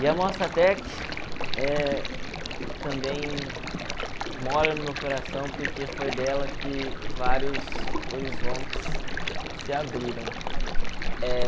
E a Mostratec eh também mora no meu coração porque foi dela que vários horizontes se abriram.